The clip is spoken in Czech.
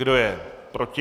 Kdo je proti?